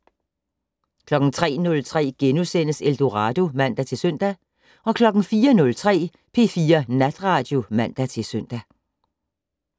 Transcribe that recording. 03:03: Eldorado *(man-søn) 04:03: P4 Natradio (man-søn)